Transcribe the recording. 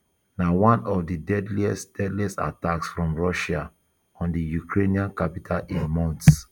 na one of di deadliest deadliest attacks from russia on di ukrainian capital in months